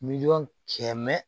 Miliyɔn kɛmɛ